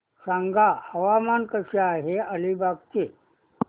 सांगा हवामान कसे आहे अलिबाग चे